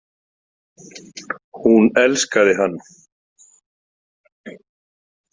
Hún elskaði hann.